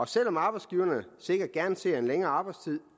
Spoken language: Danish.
selv om arbejdsgiverne sikkert gerne ser en længere arbejdstid